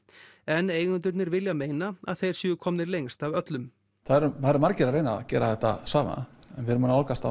en eigendurnir vilja meina að þeir séu komnir lengst af öllum það eru margir að reyna að gera þetta sama en við erum að nálgast